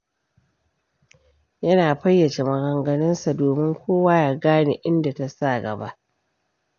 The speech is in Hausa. Yana fayyace maganganunsa, domin kowa ya gane inda ta sa gaba.